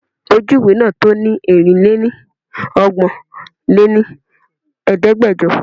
Ojú ìwé náà to ni Erin-lé-ní ọgbọ́n lé ní Ẹ̀ẹ́dẹ́gbẹjọ.